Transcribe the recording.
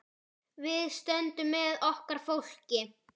Við stöndum með okkar fólki.